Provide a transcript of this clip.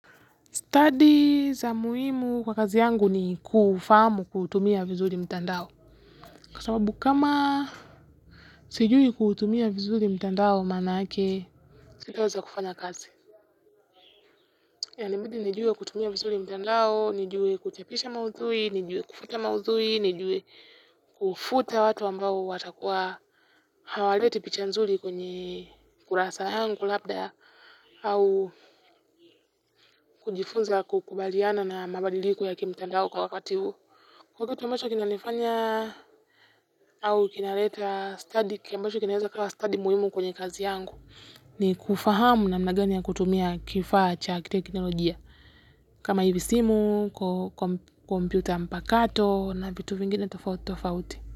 Stadi za muhimu kwa kazi yangu ni kufahamu kutumia vizuri mtandao. Kwa sababu kama sijui kutumia vizuri mtandao manake, sitaweza kufanya kazi. Inanibidi nijue kutumia vizuri mtandao, nijue kuchapisha maudhui, nijue kufuata maudhui, nijue kufuta watu ambao watakuwa hawaleti picha nzuri kwenye kurasa yangu labda au kujifunza kukubaliana na mabadiliko ya kimtandao kwa wakati huu. Wakati ambacho kunanifanya.